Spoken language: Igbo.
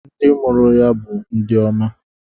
Ndị mụrụ ya bụ ndị oma.